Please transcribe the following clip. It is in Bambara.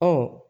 Ɔ